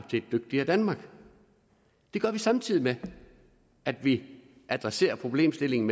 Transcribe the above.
til et dygtigere danmark det gør vi samtidig med at vi adresserer problemstillingen